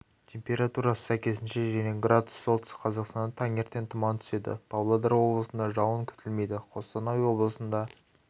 температурасы сәйкесінше және градус солтүстік қазақстанда таңертең тұман түседі павлодар облысында жауын күтілмейді қостанай облысында